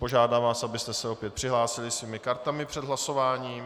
Požádám vás, abyste se opět přihlásili svými kartami před hlasováním.